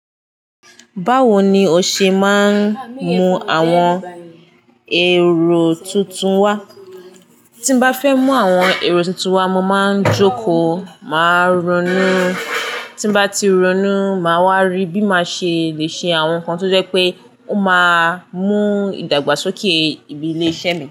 Báwo ni o ṣe máa ń mú àwọn èrò tuntun wá? Tí n bá fẹ́ mú àwọn èrò tuntun wá, mo máa ń jókòó, màá ronú tí n bá ti ronú, màá wá rí bí màá ṣe le ṣe àwọn nǹkan tó jẹ́ pé ó máa mú ìdàgbàsókè ibi ilé iṣẹ́ mi.